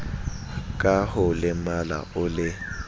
ka ho lemala o le